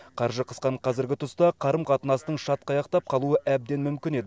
қаржы қысқан қазіргі тұста қарым қатынастың шатқаяқтап қалуы әбден мүмкін еді